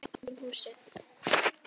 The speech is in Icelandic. Mér þótti vænt um húsið.